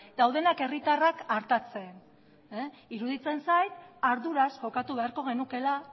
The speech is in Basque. daudenak herritarrak artatzen iruditzen zait arduraz jokatu beharko genukeela